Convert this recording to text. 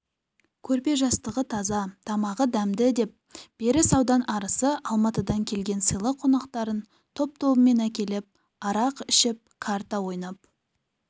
көрпе-жастығы таза тамағы дәмді деп беріс аудан арысы алматыдан келген сыйлы қонақтарын топ-тобымен әкеліп арақ ішіп карта ойнап